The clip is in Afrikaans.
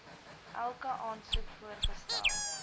elke aansoek vergesel